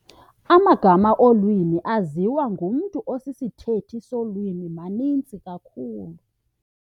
Amagama olwimi aziwa ngumntu osisithethi solwimi maninzi kakhulu.